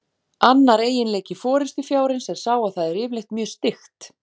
Annar eiginleiki forystufjárins er sá að það er yfirleitt mjög styggt.